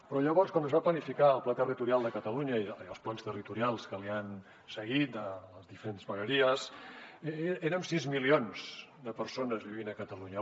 però llavors quan es va planificar el pla territorial de catalunya i els plans territorials que l’han seguit de les diferents vegueries érem sis milions de persones vivint a catalunya